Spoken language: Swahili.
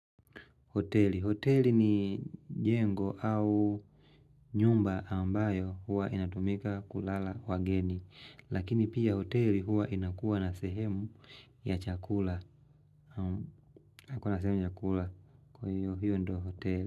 Hoteli ni jengo au nyumba ambayo huwa inatumika kwa kulala wageni. Lakini pia hoteli huwa inakuwa na sehemu ya chakula. Naam, hiyo ndio hoteli.